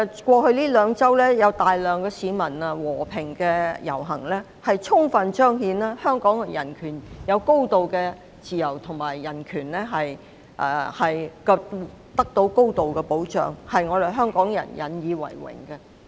過去兩周有大批市民和平遊行，充分彰顯香港人擁有高度自由，而人權亦得到高度保障，令香港人引以為榮。